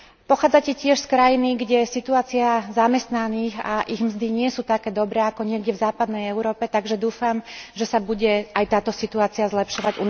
Pochádzate tiež z krajiny, kde situácia zamestnaných a ich mzdy nie sú také dobre, ako niekde v západnej Európe, takže dúfam, že sa bude aj táto situácia zlepšovať.